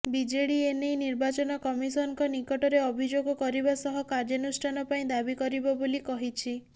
BJD ଏନେଇ ନିର୍ବାଚନ କମିଶନଙ୍କ ନିକଟରେ ଅଭିଯୋଗ କରିବା ସହ କାର୍ଯ୍ୟାନୁଷ୍ଠାନ ପାଇଁ ଦାବି କରିବ ବୋଲି କହିଛି